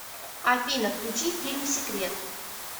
афина включи фильм секрет